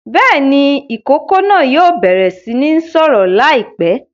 Bẹ́ẹ̀ ni, ìkókó náà yóò bẹ̀rẹ̀ sí ní sọ̀rọ̀ láìpẹ́.